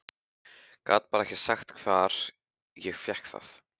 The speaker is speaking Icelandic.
Gat bara ekki sagt hvar ég fékk það.